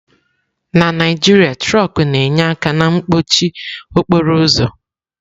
Na Naijiria, trọkú na-enye aka na mkpọchị okporo ụzọ.